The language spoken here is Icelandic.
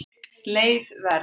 Leið Verð